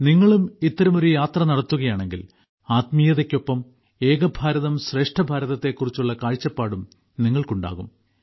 നിങ്ങളും ഇത്തരമൊരു യാത്ര നടത്തുകയാണെങ്കിൽ ആത്മീയതയ്ക്കൊപ്പം ഏക ഭാരതം് ശ്രേഷ്ഠഭാരതത്തെക്കുറിച്ചുള്ള കാഴ്ചപ്പാടും നിങ്ങൾക്കുണ്ടാകും